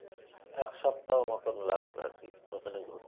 এক সপ্তাহ মতো লাগবে আরকি ওখানে যেতে